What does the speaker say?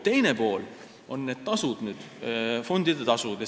Teine pool on fondide tasud.